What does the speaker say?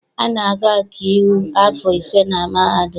A na-agụ ọkaiwu afọ ise na mahadum.